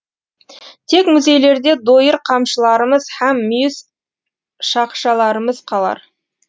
тек музейлерде дойыр қамшыларымыз һәм мүйіз шақшаларымыз қалар